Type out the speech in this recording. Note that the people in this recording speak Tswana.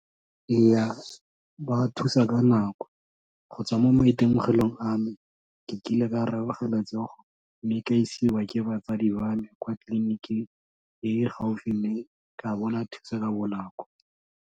Ee, ba thusa ka nako, go tswa mo maitemogelong a me, ke kile ka robega letsogo mme ka isiwa ke batsadi ba me kwa tleliniking e gaufi mme ka bona thuso ka bonako.